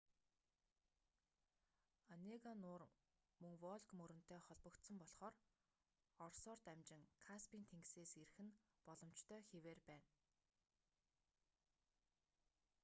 онега нуур мөн волг мөрөнтэй холбогдсон болхоор оросоор дамжин каспийн тэнгисээс ирэх нь боломжтой хэвээр байна